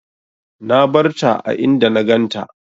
Na barta a inda na ganta.